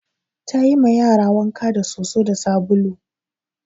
Ta yi ma yara wanka da soso da sabulu